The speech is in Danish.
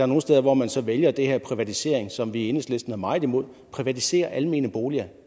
nogle steder hvor man så vælger den her privatisering som vi i enhedslisten er meget imod at privatisere almene boliger